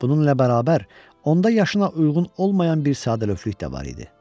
Bununla bərabər, onda yaşına uyğun olmayan bir sadəlövhlük də var idi.